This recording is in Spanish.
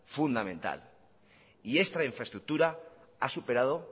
fundamental y esta infraestructura ha superado